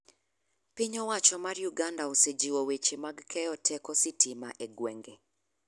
Piny owacho mar Uganda osejiwo weche mag keyo teko sitima e gwenge.